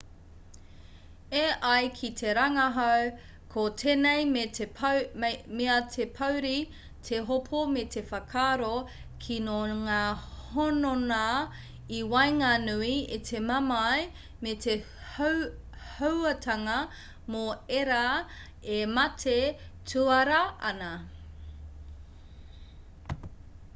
e ai ki te rangahau ko tēnei mea te pouri te hopo me te whakaaro kino ngā hononga i waenganui i te mamae me te hauātanga mō ērā e mate tuara ana